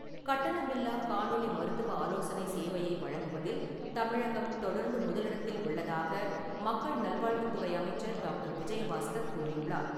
கட்டணமில்லா காணொலி மருத்துவ ஆலோசனை சேவையை வழங்குவதில் தமிழகம் தொடர்ந்து முதலிடத்தில் உள்ளதாக மக்கள் நல்வாழ்வுத்துறை அமைச்சர் டாக்டர் விஜயபாஸ்கர் கூறியுள்ளார்.